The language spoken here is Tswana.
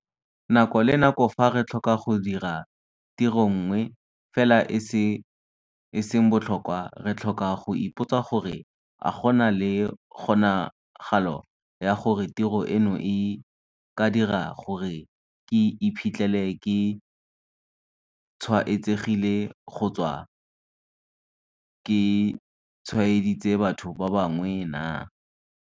Nako le nako fa re tlhoka go dira tiro nngwe fela e e seng botlhokwa, re tlhoka go ipotsa gore - a go na le kgonagalo ya gore tiro eno e ka dira gore ke iphitlhele ke tshwaetsegile kgotsa ke tshwaeditse batho ba bangwe naa?